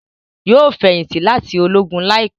Yóò feyinti láti Ológùn láìpé